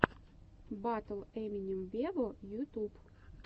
батл эминем вево ютуб